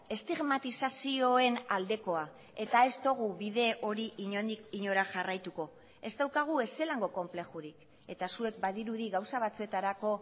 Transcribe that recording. estigmatizazioen aldekoa eta ez dugu bide hori inondik inora jarraituko ez daukagu ez zelango konplexurik eta zuek badirudi gauza batzuetarako